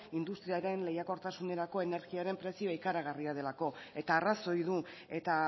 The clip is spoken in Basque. industriaren lehiakortasunerako energiaren prezioa ikaragarria delako eta arrazoi du eta